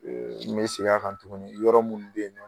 n be seg'a kan tuguni yɔrɔ munnu be yen nɔ